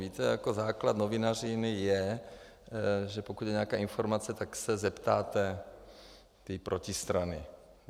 Víte, jako základ novinařiny je, že pokud je nějaká informace, tak se zeptáte té protistrany.